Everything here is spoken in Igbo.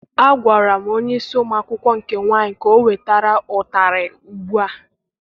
Agwara m onyeisi ụmụ akwụkwọ nke nwaanyị ka ọ wetara ụtarị ugbua!